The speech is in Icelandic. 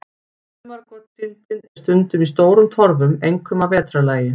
Sumargotssíldin er stundum í stórum torfum, einkum að vetrarlagi.